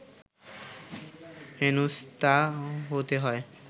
হেনস্থা হতে হয়